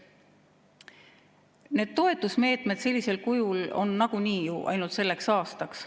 Need toetusmeetmed sellisel kujul on nagunii ju ainult selleks aastaks.